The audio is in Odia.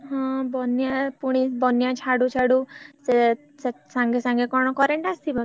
ହଁ ବନ୍ୟା ଫୁଣି ବନ୍ୟା ଛାଡୁ ଛାଡୁ ସେ ସାଙ୍ଗେ ସାଙ୍ଗେ କଣ current ଆସିବ।